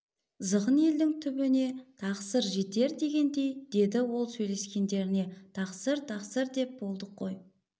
зғын елдің түбіне тақсыр жетер дегендей деді ол сөйлескендеріне тақсыр-тақсыр деп болдық қой